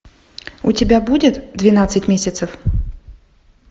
у тебя будет двенадцать месяцев